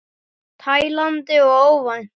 Tælandi og óvænt.